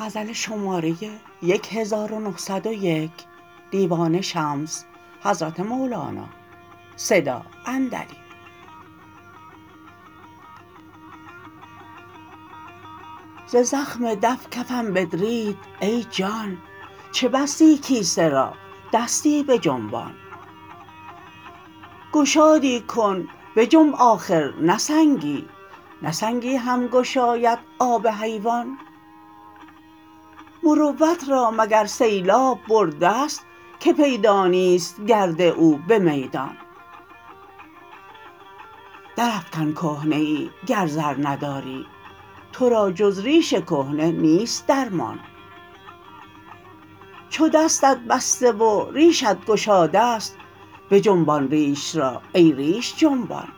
ز زخم دف کفم بدرید ای جان چه بستی کیسه را دستی بجنبان گشادی کن بجنب آخر نه سنگی نه سنگی هم گشاید آب حیوان مروت را مگر سیلاب برده ست که پیدا نیست گرد او به میدان درافکن کهنه ای گر زر نداری تو را جز ریش کهنه نیست درمان چو دستت بسته و ریشت گشاده ست بجنبان ریش را ای ریش جنبان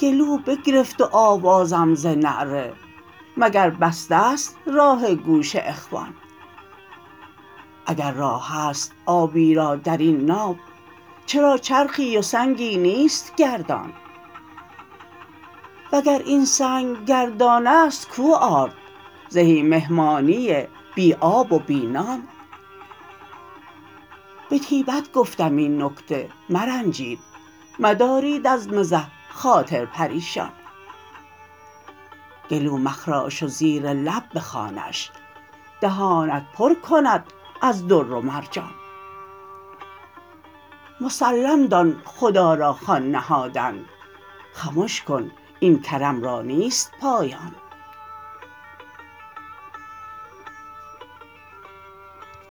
گلو بگرفت و آوازم ز نعره مگر بسته است راه گوش اخوان اگر راه است آبی را در این ناو چرا چرخی و سنگی نیست گردان وگر این سنگ گردان است کو آرد زهی مهمانی بی آب و بی نان به طیبت گفتم این نکته مرنجید مدارید از مزح خاطر پریشان گلو مخراش و زیر لب بخوانش دهانت پر کند از در و مرجان مسلم دان خدا را خوان نهادن خمش کن این کرم را نیست پایان